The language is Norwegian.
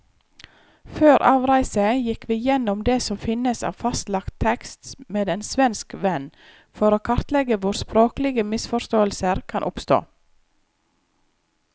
Før avreise gikk vi gjennom det som finnes av fastlagt tekst med en svensk venn, for å kartlegge hvor språklige misforståelser kan oppstå.